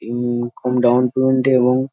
ইন-ন-কম down payment -এ এবং--